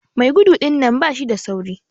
Mai gudu dinnan bashi da sauri.